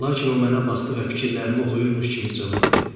Lakin o mənə baxdı və fikirlərimi oxuyurmuş kimi cavab verdi.